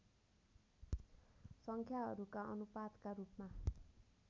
सङ्ख्याहरूका अनुपातका रूपमा